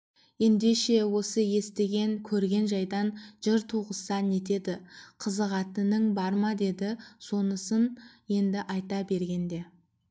ендеше осы естіген көрген жайдан жыр туғызса нетеді қызығатының бар ма деді сонысын енді айта бергенде